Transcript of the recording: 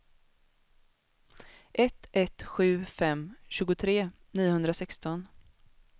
ett ett sju fem tjugotre niohundrasexton